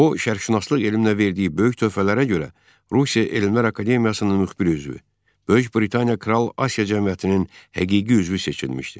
O şərqşünaslıq elminə verdiyi böyük töhfələrə görə Rusiya Elmlər Akademiyasının müxbir üzvü, Böyük Britaniya Kral Asiya Cəmiyyətinin həqiqi üzvü seçilmişdi.